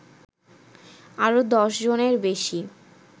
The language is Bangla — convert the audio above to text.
আরো দশজনের বেশী